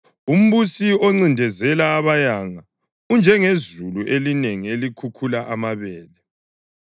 Umbusi oncindezela abayanga unjengezulu elinengi elikhukhula amabele.